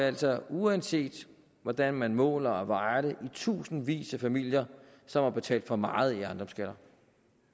altså uanset hvordan man måler og vejer det tusindvis af familier som har betalt for meget